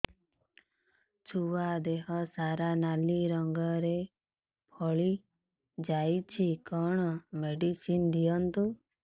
ଛୁଆ ଦେହ ସାରା ନାଲି ରଙ୍ଗର ଫଳି ଯାଇଛି କଣ ମେଡିସିନ ଦିଅନ୍ତୁ